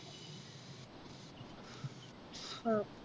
ആഹ്